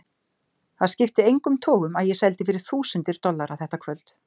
Það skipti engum togum að ég seldi fyrir þúsundir dollara þetta kvöld.